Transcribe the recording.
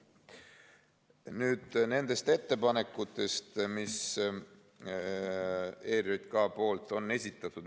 Nüüd nendest ettepanekutest, mis on ERJK esitatud.